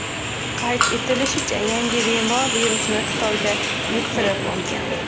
Qayd etilishicha, yangi bemor virusni Xitoyda yuqtirib olgan.